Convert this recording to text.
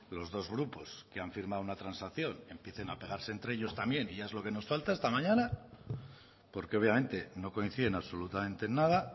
los dos grupos que han firmado una transacción empiecen a pegarse entre ellos también y ya es lo que nos falta esta mañana porque obviamente no coinciden absolutamente en nada